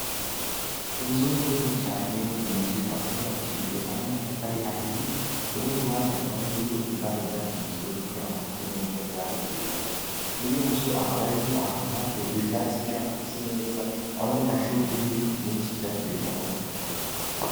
Inzu nini cane, iyo nzu ikaba yarubakishijwe amatafari ahiye, urundi ruhande hakaba hariyo ibara ryasizwe kugira ngo hase neza ibara ryera. muri iyo nzu, hakaba hariyo ahantu ibi vyatsi kugira ngo hase neza, hamwe n amashurwe n’ibiti vyinshi vyatewe, kugira ngo bitange akayaga.